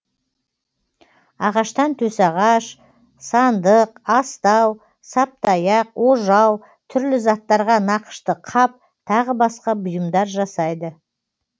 ағаштан төсағаш сындық астау саптаяқ ожау түрлі заттарға нақышты қап тағы басқа бұйымдар жасайды